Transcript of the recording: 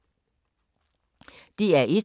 DR1